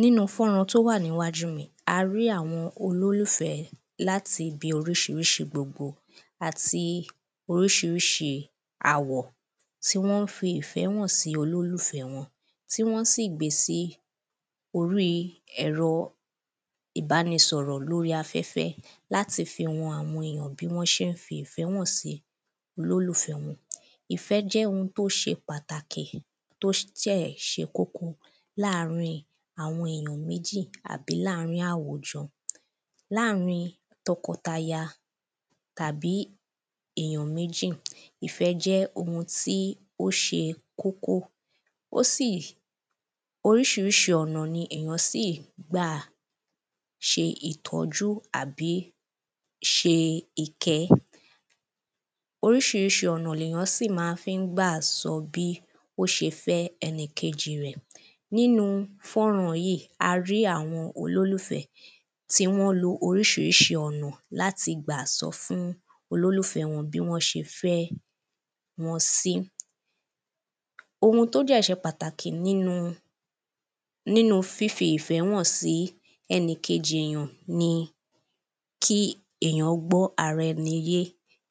Nínú fọ́nrán tí ó wà níwájú mi a rí àwọn olólùfẹ́ láti ibi oríṣiríṣi gbogbo Àti oríṣiríṣi àwọ̀ tí wọ́n fi ìfẹ́ hàn sí olólùfẹ́ wọn tí wọn sí gbe sí orí ẹ̀rọ ìbánìṣọ̀rọ̀ ní orí afẹ́fẹ́ láti fi hàn àwọn èyàn bí wọ́n ṣe ń fi ìfẹ́ hàn sí olólùfẹ́ wọn Ìfẹ́ jẹ́ oun tí ó ṣe pàtàkì tí ó dẹ̀ ṣe kókó ní àárín àwọn èyàn méjì àbí ní àárín àwùjọ Ní àárín tọkọtaya àbí èyàn méjì ìfẹ́ jẹ́ oun tí ó ṣe kókó Ó sì oríṣiríṣi ọ̀nà ni èyàn sì gbà ṣe ìtọ́jú àbí ṣe ìkẹ́ Oríṣiríṣi ọ̀nà ni èyàn si máa fi ń gbà sọ bí ó ṣe fẹ́ ẹnìkejì rẹ̀ Nínú fọ́nrán yìí a rí àwọn olólùfẹ́ tí wọ́n lo oríṣiríṣi ọ̀nà láti gbà sọ fún olólùfẹ́ wọn bí wọ́n ṣe fẹ́ wọn sí Oun tí ó dẹ̀ ṣe pàtàkì nínú fifi ìfẹ́ hàn sí ẹnìkejì èyàn ni kí èyàn gbọ́ ara ẹni yé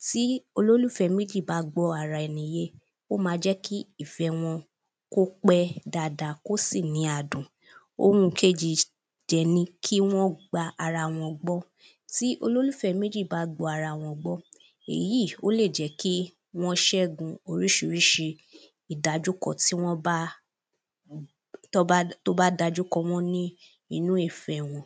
Ti olólùfẹ́ méjì bá gbọ́ ara ẹni yé ó ma jẹ́ kí ìfẹ́ wọn kí ó pẹ́ dáadáa kí ó sì ní adùn Oun kejì dẹ̀ ni kí wọ́n gba ara wọn gbọ́ Tí olólùfẹ́ méjì bá gba ara wọn gbọ́ èyí ó lè jẹ́ kí wọ́n ṣẹ́gun oríṣiríṣi ìdajúkọ tí wọ́n bá tí o bá da ojú kọ wọ́n ní inú ìfẹ́ wọn